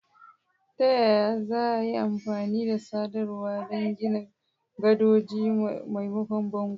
Ta yaya za a yi amfani da sadarwa don gina gadoji maimakon bango?